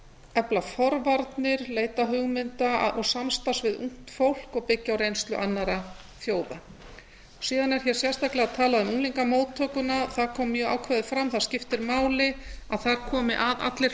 efla forvarnir leita hugmynda og samstarfs við ungt fólk og byggja á reynslu annarra þjóða síðan er hér sérstaklega talað um unglingamóttökuna það kom mjög ákveðið fram það skiptir máli að það komi að allir